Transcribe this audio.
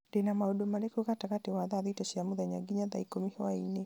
ndĩ na maũndũ marĩkũ gatagatĩ wa thaa thita cia mũthenya nginya thaa ikũmi hwaĩinĩ